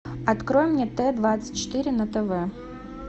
открой мне т двадцать четыре на тв